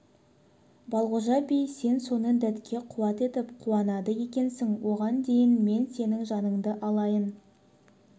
балғожа би сен соны дәтке қуат етіп қуанады екенсің оған дейін мен сенің жаныңды алайын